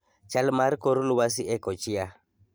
chal mar kor lwasi e Kochia